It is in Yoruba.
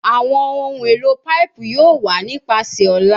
Awọn ohun elo paipu yoo wa nipasẹ ọla